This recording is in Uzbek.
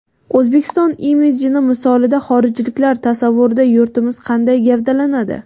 O‘zbekiston imidjini misolida xorijliklar tasavvurida yurtimiz qanday gavdalanadi?